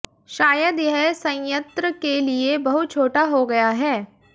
शायद यह संयंत्र के लिए बहुत छोटा हो गया है